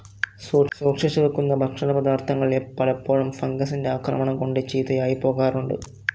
സൂക്ഷിച്ചു വയ്ക്കുന്ന ഭക്ഷണ പദാർഥങ്ങൾ പലപ്പോഴും ഫംഗസിന്റെ ആക്രമണം കൊണ്ട് ചീത്തയായിപ്പോകാറുണ്ട്.